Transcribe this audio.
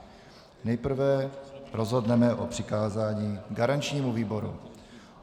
Nejprve rozhodneme o přikázání garančnímu výboru.